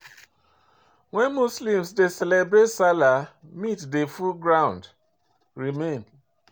When Muslims dey celebrate salah, meat dey full ground remain